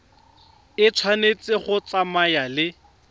e tshwanetse go tsamaya le